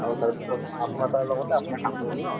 আৰু তাৰপিছত আপোনাৰ তাৰলগতে আপোনাৰ কামো হল ন